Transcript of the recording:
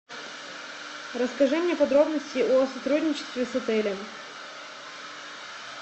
расскажи мне подробности о сотрудничестве с отелем